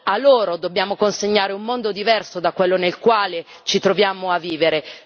A loro dobbiamo consegnare un mondo diverso da quello nel quale ci troviamo a vivere.